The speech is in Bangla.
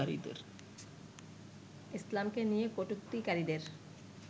ইসলামকে নিয়ে কটুক্তিকারীদের